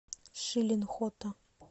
шилин хото